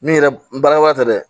Min yɛrɛ n baarakɛwa tɛ dɛ